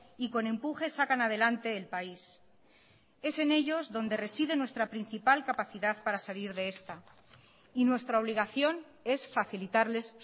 y con empuje sacan adelante el país es en ellos donde reside nuestra principal capacidad para salir de esta y nuestra obligación es facilitarles